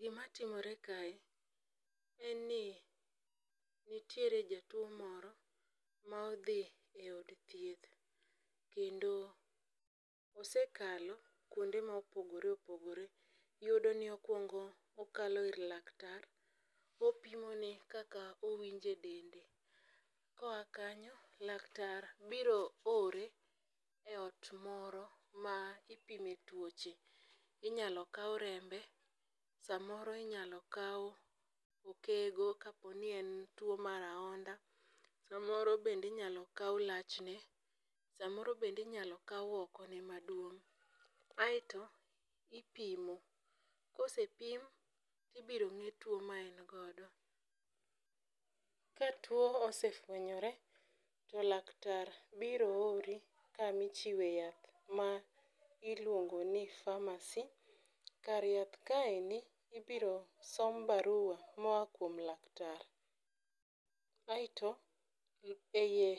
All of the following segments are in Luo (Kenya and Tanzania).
Gimatimore kae en ni nitiere jatuwo moro ma odhi e od thieth kendo osekalo kwonde ma opogore opogore. Iyudo ni okwongo okalo ir laktar kopimone kaka owinjo e dende, koa kanyo, laktar biro ore e ot moro ma ipime tuoche ,inyalo kaw rembe, samoro inyalo kaw okego kapo ni en tuwo mar ahonda, samoro bende inyalo kawoi lachne, samoro bende inyalo kaw okone maduong'. Aeto ipimo, kosepim ibiro ng'e tuwo ma en godo, ka tuwo osefwenyore to laktar biro ori kama ichiwe yath ma iluongo ni pharmacy. Kar yath kaendi, ibiro som barua moa kuom laktar aeto e iye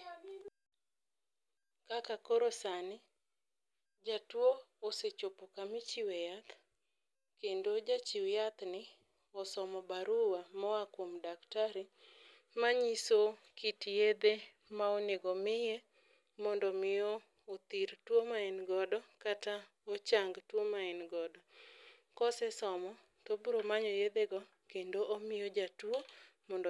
kaka koro sani, jatuwo osechopo kamichiwe yath kendo jachiw yathni osomo barua moa kuom daktari manyiso kit yedhe ma onego miye mondo omi othir tuwo ma en godo kata ochang tuwo ma en godo, kosesomo, tobro manyo yedhego kendo omiyo jatuwo mondo